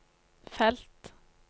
felt